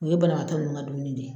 U ye banabagatɔ ninnu ka dumuni de ye.